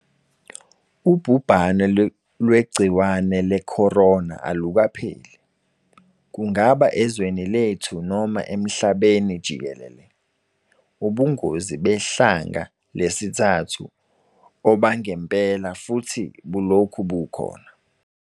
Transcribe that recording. Ubhubhane lwegciwane leCorona alukapheli, kungaba ezweni lethu noma emhlabeni jikelele. Ubungozi behlandla lesithathu obangempela futhi bulokhu bukhona.